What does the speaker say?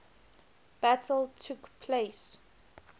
battle took place